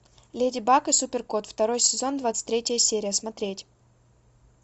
леди баг и супер кот второй сезон двадцать третья серия смотреть